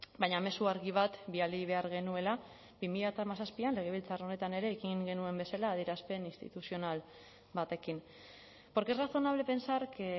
baina mezu argi bat bidali behar genuela bi mila hamazazpian legebiltzar honetan ere ekin genuen bezala adierazpen instituzional batekin porque es razonable pensar que